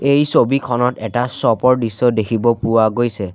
এই ছবিখনত এটা শ্ব'প ৰ দৃশ্য দেখিব পোৱা গৈছে।